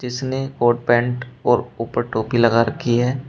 इसने coat pant और ऊपर टोपी लगा रखी है।